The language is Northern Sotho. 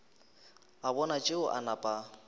a bona tšeo a napa